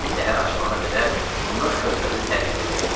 Səhər açıla qədər onlar körfəzi tərk eləyə biləcəklər.